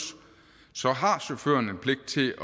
har chaufføren en pligt til